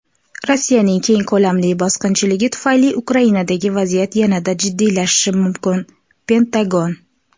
Rossiyaning keng ko‘lamli bosqinchiligi tufayli Ukrainadagi vaziyat yanada jiddiylashishi mumkin – Pentagon.